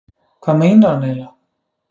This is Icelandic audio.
Hvað meinar hann eiginlega?